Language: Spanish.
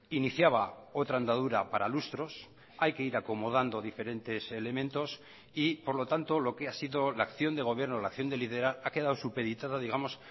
iniciaba otra andadura para lustros hay que ir acomodando diferentes elementos y por lo tanto lo que ha sido la acción de gobierno la acción de liderar ha quedado supeditada digamos